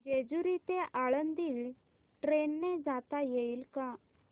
जेजूरी ते आळंदी ट्रेन ने जाता येईल का